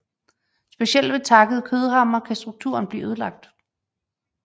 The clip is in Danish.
Specielt ved takkede kødhamre kan strukturen blive ødelagt